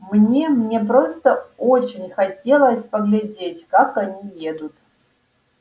мне мне просто очень хотелось поглядеть как они едут